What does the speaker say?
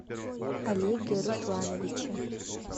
олеге руслановиче